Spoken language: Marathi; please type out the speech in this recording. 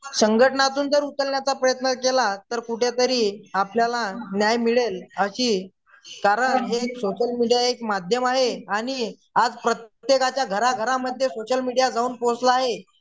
संघटनातून जर उचलण्याचा प्रयत्न जर केला तर कुठंतरी आपल्याला न्याय मिळेल अशी कारण हे एक सोश्ल मीडिया हे एक माध्यम आहे आणि आज प्रत्येकाच्या घराघरामध्ये सोशल मीडिया जाऊन पोहोचला आहे